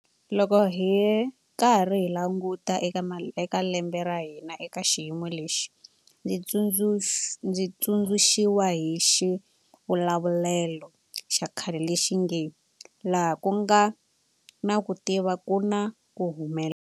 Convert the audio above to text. Loko hi karhi hi languta eka lembe ra hina eka xiyimo lexi, ndzi tsundzuxiwa hi xivulavulelo xa khale lexi nge laha ku nga na ku tika ku na ku humelela.